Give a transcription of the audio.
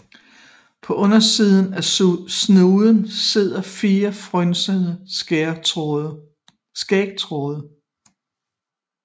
På undersiden af snuden sidder fire frynsede skægtråde